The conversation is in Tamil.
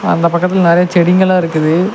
அ அந்த பக்கத்துல நறையா செடிங்களா இருக்குது.